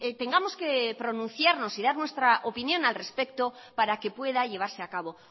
tengamos que pronunciarnos y dar nuestra opinión al respecto para que pueda llevarse a cabo